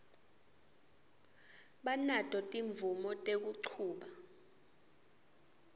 banato timvumo tekuchuba